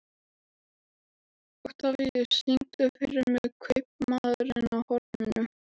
Oktavíus, syngdu fyrir mig „Kaupmaðurinn á horninu“.